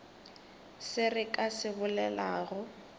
se re ka se bolelago